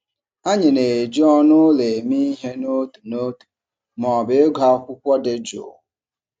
Anyị na-eji ọnụ ụlọ eme ihe n'otu n'otu ma ọ bụ ịgụ akwụkwọ dị jụụ.